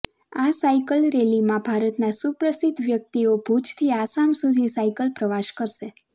આ cycle rally માં ભારત ના સુપ્રસિદ્ધ વ્યક્તિઓ ભુજ થી આસામ સુધી સાયકલ પ્રવાસ કરશે